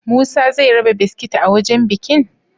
Musa zai raba biskit a wajan bikin?